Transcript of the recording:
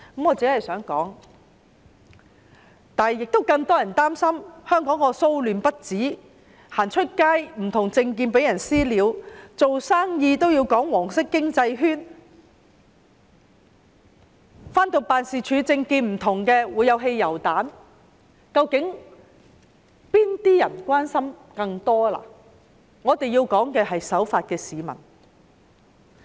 我想說的是，更多人擔心香港騷亂不止，外出的時候會因為不同政見而被"私了"，做生意要表明屬於"黃色經濟圈"，擔心因為不同政見而辦事處被投擲汽油彈，究竟市民更關心的是哪些事情呢？